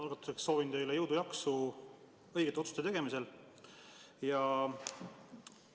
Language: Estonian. Algatuseks soovin teile jõudu-jaksu õigete otsuste tegemisel!